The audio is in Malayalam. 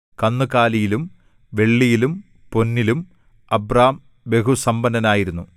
കന്നുകാലിയിലും വെള്ളിയിലും പൊന്നിലും അബ്രാം ബഹുസമ്പന്നനായിരുന്നു